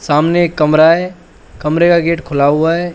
सामने कमरा है कमरे का गेट खुला हुआ है।